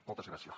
moltes gràcies